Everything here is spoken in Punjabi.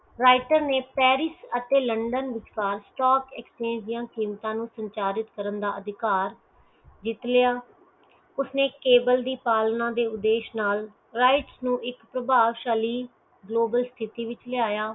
writer ਨੇ ਪੈਰਿਸ਼ ਅਤੇ ਲੰਡਨ ਵਿਚਕਾਰ stock exchange ਦੀਆ ਕੀਮਤਾਂ ਨੂੰ ਸੰਚਾਯਾ ਜਿੱਤ ਕਰਨ ਦਾ ਅਧਿਕਾਰ ਜਿੱਤ ਲਿਆ ਉਸਨੈ ਕੇਵਲ ਦੀ ਪਾਲਣਾ ਦੇ ਉਦੇਸ਼ ਨਾਲ rights ਨੂੰ ਇਕ ਪ੍ਰਭਾਵ ਸ਼ੈਲੀ ਸਥਿਤਹਿ ਵਿਚ ਲਿਆਯਾ